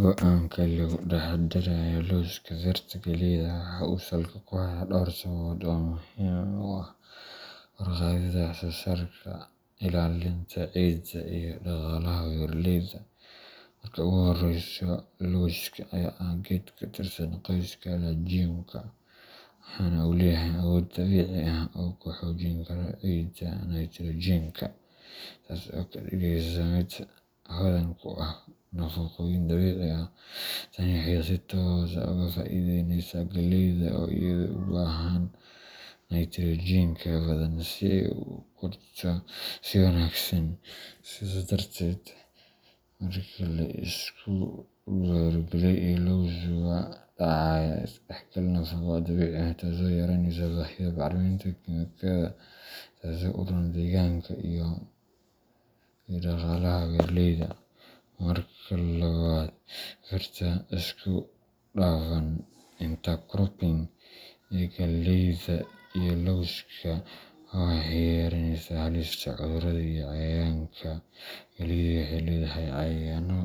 Go'aanka lagu dhex dareeyo lawska beerta galleyda waxa uu salka ku hayaa dhowr sababood oo muhiim u ah kor u qaadidda wax soosaarka, ilaalinta caafimaadka ciidda, iyo dhaqaalaha beeralayda. Marka ugu horreysa, lawska ayaa ah geed ka tirsan qoyska legumeka, waxaana uu leeyahay awood dabiici ah oo uu ku xoojin karo ciidda nitrogenka, taas oo ka dhigaysa mid hodan ku ah nafaqooyin dabiici ah. Tani waxay si toos ah uga faa’iideysaa galleyda oo iyadu u baahan nitrogenka badan si ay u kori karto si wanaagsan. Sidaas darteed, marka la isku beero galley iyo laws, waxaa dhacaya is dhexgal nafqo oo dabiici ah, taasoo yaraynaysa baahida bacriminta kiimikada, taasoo u roon deegaanka iyo dhaqaalaha beeralayda. Marka labaad, beerta isku dhafan intercropping ee galleyda iyo lawska waxay yaraynaysaa halista cudurrada iyo cayayaanka. Galleydu waxay leedahay cayayaanno